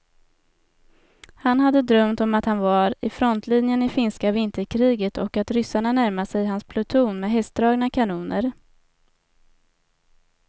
Han hade drömt om att han var i frontlinjen i finska vinterkriget och att ryssarna närmade sig hans pluton med hästdragna kanoner.